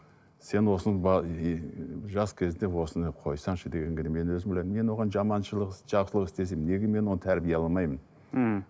сен осының ыыы жас кезіңде осыны қойсаңшы дегенге мен өзім ойладым мен оған жаманшылық іс жақсылық істесем неге мен оны тәрбиелей ала алмаймын мхм